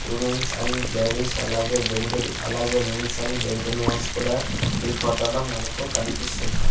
Women's and ladies అలాగే gentle అలాగే mens and gentle mens కూడా ఈ ఫోటోలో మనకు కనిపిస్తున్నారు.